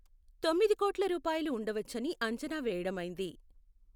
తొమ్మిది కోట్ల రూపాయలు ఉండవచ్చని అంచనా వేయడమైంది.